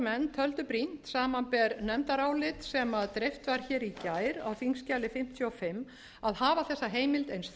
viðskiptanefndarmenn töldu brýnt samanber nefndarálit sem dreift var hér í gær á þingskjali fimmtíu og fimm að hafa þessa heimild eins